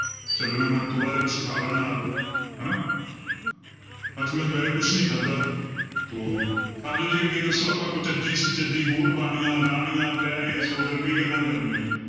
ਚੱਲਣਾ ਮੈਂ ਥੋੜ੍ਹਾ ਜਿਹਾ ਕੁਛ ਖਾ ਲਾ ਨਾਲ ਹਨਾ ਅੱਜ ਮੈਂ ਦੁਪਹਿਰੇ ਕੁਛ ਨੀ ਖਾਧਾ ਤੋ ਆ ਜਾਓ ਜੀ ਅੱਗੇ ਦੱਸੋ ਆਪਾਂ ਕੁਚੱਜੀ ਸੁਚੱਜੀ ਹੋਰ ਬਾਣੀਆਂ, ਆਲਾਣੀਆਂ, ਪੈਰੇ, ਸੋਧਰ ਕਈ ਗੱਲਾਂ ਕਰਨੀਆਂ ਨੇ।